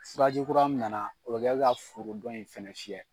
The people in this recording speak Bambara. Furaji kura min na na o bɛ kɛ ka foro dɔ in fana fiyɛ.